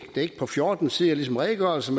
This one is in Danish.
på fjorten sider ligesom redegørelsen